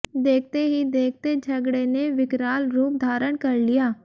देखते ही देखते झगड़े ने विकराल रूप धारण कर लिया